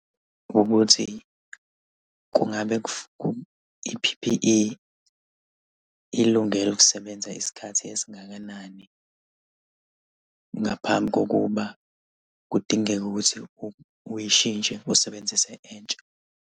Ukuthi kungabe i-P_P_E ilungele ukusebenza isikhathi esingakanani, ngaphambi kokuba kudingeke ukuthi uyishintshe usebenzise entsha?